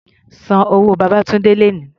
San owó Babátúndé lónìí!